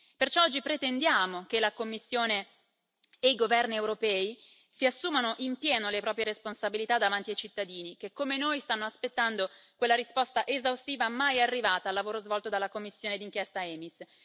Perciò oggi pretendiamo che la Commissione e i governi europei si assumano in pieno le proprie responsabilità davanti ai cittadini che, come noi, stanno aspettando quella risposta esaustiva, mai arrivata, al lavoro svolto dalla commissione d'inchiesta EMIS.